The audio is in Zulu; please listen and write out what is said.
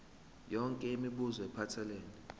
yonke imibuzo ephathelene